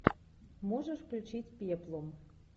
можешь включить пеплум